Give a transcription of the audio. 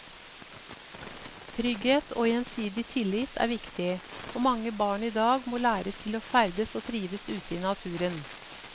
Trygghet og gjensidig tillit er viktig, og mange barn i dag må læres til å ferdes og trives ute i naturen.